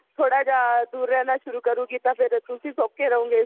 ਥੋੜਾ ਜਾ ਦੂਰ ਰਹਿਣਾ ਸ਼ੁਰੂ ਕਰੂਗੀ ਤਾ ਫ਼ਿਰ ਤੁਸੀਂ ਸੋਖ਼ੇ ਰਹੋਗੇ